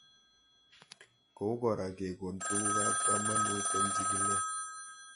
Kou kora kekon tuguk ab kamanut eng' chig'ilet